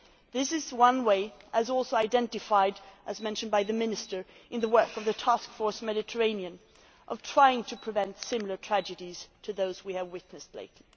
This is one way, as also identified and as mentioned by the Minister in the work of the Task Force on the Mediterranean, of trying to prevent similar tragedies to those we have witnessed lately.